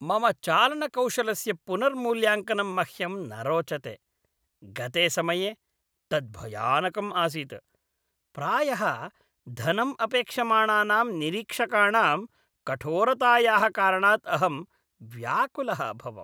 मम चालनकौशलस्य पुनर्मूल्याङ्कनं मह्यं न रोचते। गते समये तत् भयानकं आसीत्। प्रायः धनम् अपेक्षमाणानां निरीक्षकाणां कठोरतायाः कारणात् अहं व्याकुलः अभवम्।